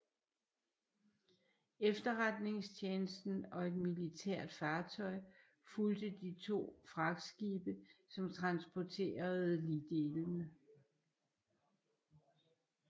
Efterretningstjenesten og et militært fartøj fulgte de to fragtskibe som transporterede ligdelene